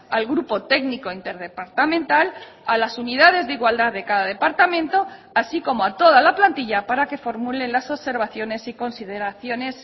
al grupo técnico interdepartamental a las unidades de igualdad de cada departamento así como a toda la plantilla para que formulen las observaciones y consideraciones